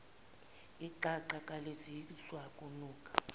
iqaqa kalizizwa ukunuka